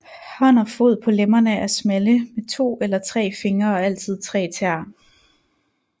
Hånd og fod på lemmerne er smalle med to eller tre fingre og altid tre tæer